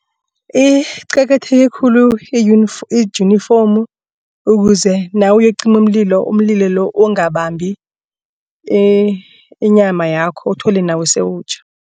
Iqakatheke khulu ijinifomu ukuze nawuyokucima umlilo umlilo lo ungabambi inyama yakho uthole nawe sewutjha.